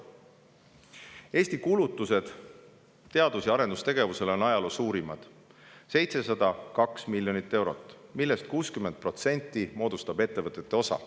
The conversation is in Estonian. Eesti kulutused teadus- ja arendustegevusele on ajaloo suurimad: 702 miljonit eurot, millest 60% moodustab ettevõtete osa.